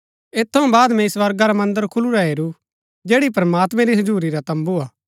ऐत थऊँ बाद मैंई स्वर्गा रा मन्दर खुलुरा हेरू जैड़ी प्रमात्मैं री हजुरी रा तम्बू हा